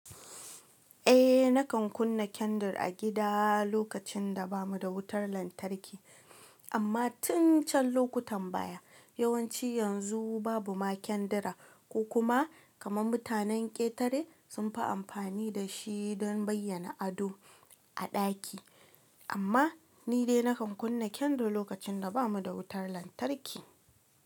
Eh, nakan kunna kyandir a gida lokacin da bamu da wutar lantarki, amma tun can lokutan baya. Yawanci yanzu babu ma kyandira, ko kuma kamar mutanen ƙetare sunfi amfani dashi don bayyana ado a ɗaki. Amma ni dai nakan kunna kendar lokacin da bamu da wutar lantarki.